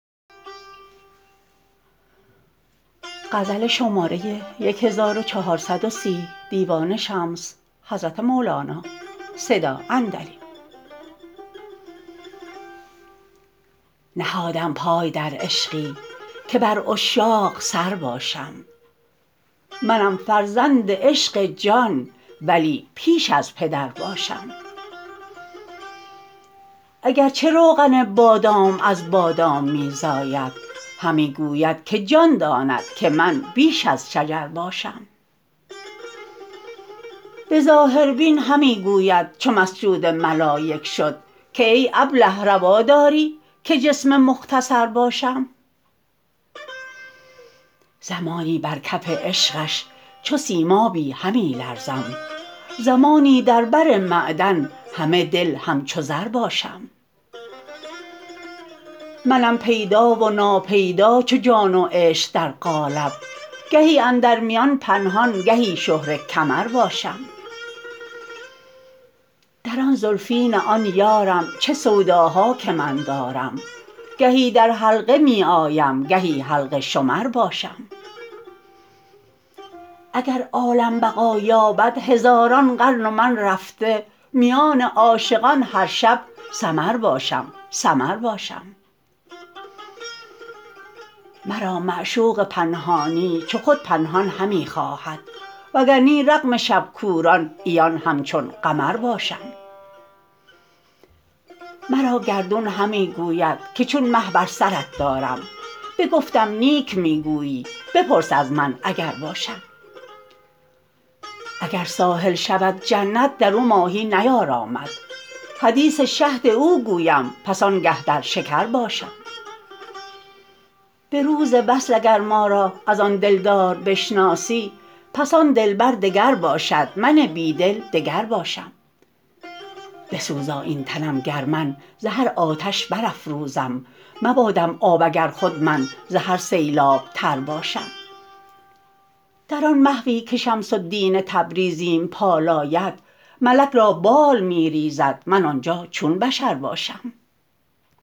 نهادم پای در عشقی که بر عشاق سر باشم منم فرزند عشق جان ولی پیش از پدر باشم اگر چه روغن بادام از بادام می زاید همی گوید که جان داند که من بیش از شجر باشم به ظاهربین همی گوید چو مسجود ملایک شد که ای ابله روا داری که جسم مختصر باشم زمانی بر کف عشقش چو سیمابی همی لرزم زمانی در بر معدن همه دل همچو زر باشم منم پیدا و ناپیدا چو جان و عشق در قالب گهی اندر میان پنهان گهی شهره کمر باشم در آن زلفین آن یارم چه سوداها که من دارم گهی در حلقه می آیم گهی حلقه شمر باشم اگر عالم بقا یابد هزاران قرن و من رفته میان عاشقان هر شب سمر باشم سمر باشم مرا معشوق پنهانی چو خود پنهان همی خواهد وگر نی رغم شب کوران عیان همچون قمر باشم مرا گردون همی گوید که چون مه بر سرت دارم بگفتم نیک می گویی بپرس از من اگر باشم اگر ساحل شود جنت در او ماهی نیارامد حدیث شهد او گویم پس آنگه در شکر باشم به روز وصل اگر ما را از آن دلدار بشناسی پس آن دلبر دگر باشد من بی دل دگر باشم بسوزا این تنم گر من ز هر آتش برافروزم مبادم آب اگر خود من ز هر سیلاب تر باشم در آن محوی که شمس الدین تبریزیم پالاید ملک را بال می ریزد من آن جا چون بشر باشم